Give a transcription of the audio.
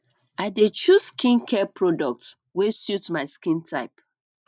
i dey choose skincare products wey suit my skin type